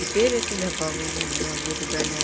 теперь это добавленное у меня в избранное